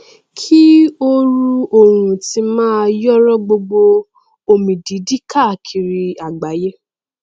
kí ooru oòrùn ti máa yòòrò gbogbo omidídì káàkiri àgbàyé